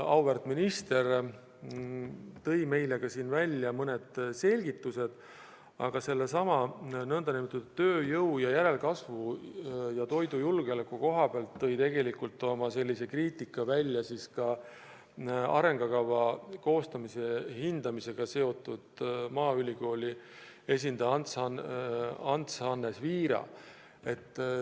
Auväärt minister tõi meile siin välja ka mõned selgitused, aga sedasama tööjõu, järelkasvu ja toidujulgeoleku vähest käsitlemist arengukava koostamisel kritiseeris ka maaülikooli esindaja Ants-Hannes Viira.